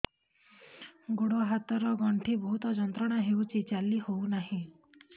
ଗୋଡ଼ ହାତ ର ଗଣ୍ଠି ବହୁତ ଯନ୍ତ୍ରଣା ହଉଛି ଚାଲି ହଉନାହିଁ